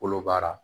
Kolo baara